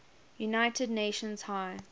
united nations high